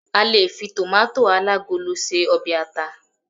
a lè fi tomato alagolo se obe ata